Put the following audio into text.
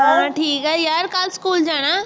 ਹਾਂ ਠੀਕ ਹੈ ਯਾਰ, ਕੱਲ੍ਹ ਸਕੂਲ ਜਾਣਾ